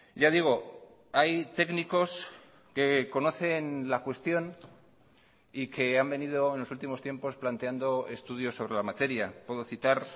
ya digo hay técnicos que conocen la cuestión y que han venido en los últimos tiempos planteando estudios sobre la materia puedo citar